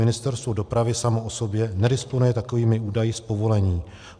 Ministerstvo dopravy samo o sobě nedisponuje takovými údaji z povolení.